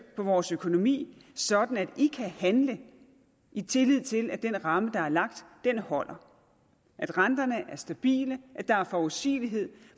på vores økonomi sådan at de kan handle i tillid til at den ramme der er lagt holder at renterne er stabile at der er forudsigelighed